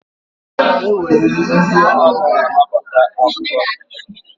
O nwere ndị na-anaghị anabata agụba n'isi.